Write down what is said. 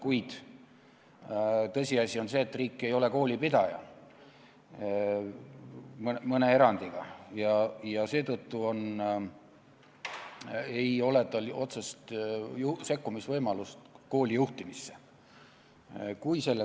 Kuid tõsiasi on see, et riik ei ole koolipidaja, mõne erandiga, ja seetõttu ei ole tal võimalust kooli juhtimisse otseselt sekkuda.